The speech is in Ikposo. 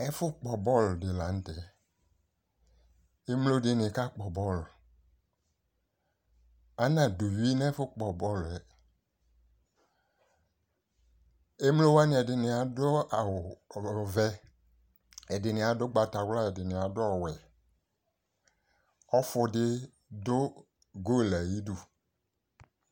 Ɛfʋ lpɔ bɔl dɩ la nʋ tɛ, emlodɩnɩ kakpɔ bɔl, anadʋ uyui n'ɛfʋ kpɔbɔlʋɛ Emlowanɩ ɛdɩnɩ adʋ awʋ ɔvɛ ɛdɩnɩ adʋ ʋgbatawla ɛdɩnɩadʋ ɔwɛ Ɔfʋdɩ dʋ golue ayidu